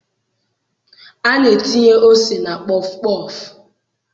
A na-etinye ose na pọfụ pọọfụ.